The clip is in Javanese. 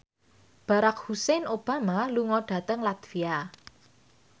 Barack Hussein Obama lunga dhateng latvia